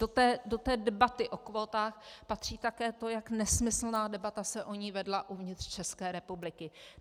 Do té debaty o kvótách patří také to, jak nesmyslná debata se o ní vedla uvnitř České republiky.